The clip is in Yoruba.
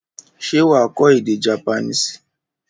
Ṣé wà á kọ́ èdè Japanese?